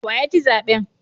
Wa ya ci zaben?